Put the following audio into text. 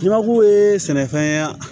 Jamaku ye sɛnɛfɛn